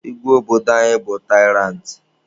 Igwe obodo anyị bụ taịrantị.